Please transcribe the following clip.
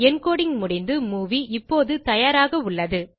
encoding முடிந்து movie இப்போது தயாராக உள்ளது